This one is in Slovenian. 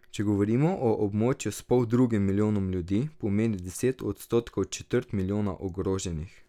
Če govorimo o območju s poldrugim milijonom ljudi, pomeni deset odstotkov četrt milijona ogroženih.